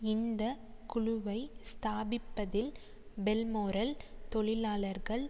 இந்த குழுவை ஸ்தாபிப்பதில் பெல்மோரல் தொழிலாளர்கள்